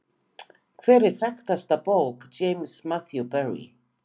Hver er þekktasta bók James Matthew Barrie?